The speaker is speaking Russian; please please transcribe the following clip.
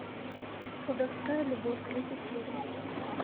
колдовская любовь третья серия